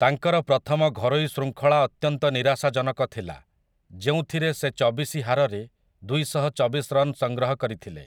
ତାଙ୍କର ପ୍ରଥମ ଘରୋଇ ଶୃଙ୍ଖଳା ଅତ୍ୟନ୍ତ ନିରାଶାଜନକ ଥିଲା, ଯେଉଁଥିରେ ସେ ଚବିଶି ହାରରେ ଦୁଇଶହଚବିଶ ରନ୍ ସଂଗ୍ରହ କରିଥିଲେ ।